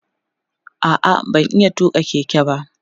a'a ban iya tuƙa Keke ba